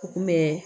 U kun bɛ